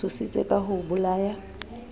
tshositse ka ho o bolaya